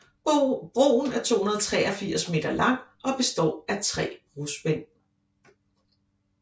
Broen er 283 meter lang og består af tre brospænd